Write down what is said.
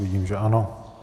Vidím, že ano.